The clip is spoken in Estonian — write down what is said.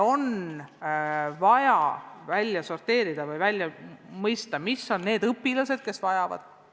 On vaja välja selgitada, millised on need õpilased, kes seda võimalust vajavad.